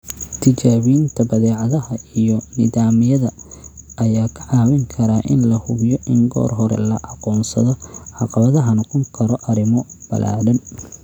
Tijaabinta badeecadaha iyo nidaamyada ayaa kaa caawin kara in la hubiyo in goor hore la aqoonsado caqabadaha noqon kara arrimo ballaadhan.